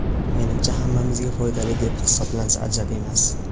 Menimcha hammamizga foydali deb hisoblansa ajab emas.